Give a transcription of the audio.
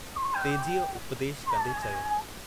छो जो जंहिं जगहि ते अजु हू पहुतो आहे।